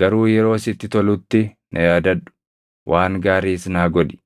Garuu yeroo sitti tolutti na yaadadhu; waan gaariis naa godhi.